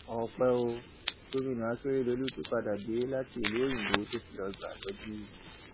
ọpẹ ò gomina akérèdólú ti padà dé láti ìlú òyìnbó tó ti lọọ gba ìtọjú